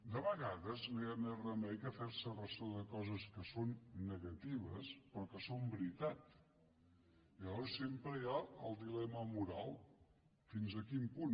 de vegades no hi ha més remei que fer se ressò de coses que són negatives però que són veritat llavors sempre hi ha el dilema moral fins a quin punt